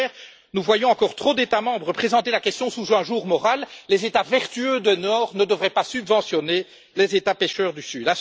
Au contraire, nous voyons encore trop d'États membres présenter la question sous un jour moral les États vertueux du nord ne devraient pas subventionner les États pêcheurs du sud.